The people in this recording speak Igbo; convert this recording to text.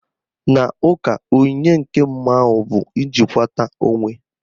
N'ụka, onyinye nke mmụọ ahụ bụ ijikwata onwe